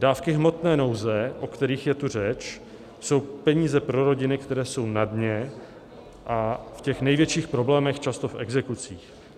Dávky hmotné nouze, o kterých je tu řeč, jsou peníze pro rodiny, které jsou na dně a v těch největších problémech, často v exekucích.